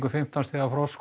um fimmtán stiga frost